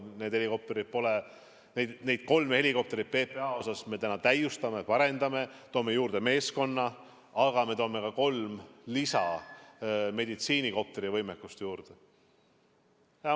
Neid kolme PPA helikopterit me täiustame, parendame, toome juurde meeskonna, aga me loome ka kolm meditsiinikopterivõimekust juurde.